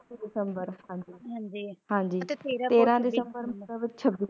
ਤੇਰ੍ਹ ਦਸੰਬਰ ਨਹੀਂ ਤਾ ਛਬੀ ਦਸੰਬਰ